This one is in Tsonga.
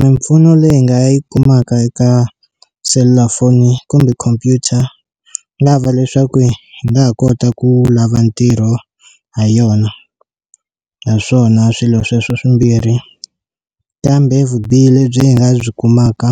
Mimpfuno leyi nga yi kumaka eka selulafoni kumbe computer nga va leswaku hi nga ha kota ku lava ntirho ha yona, ha swona swilo sweswo swimbirhi kambe vubihi le byi nga byi kumaka